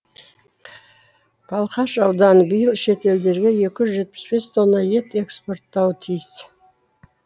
балқаш ауданы биыл шетелдерге екі жүз жетпіс бес тонна ет экспорттауы тиіс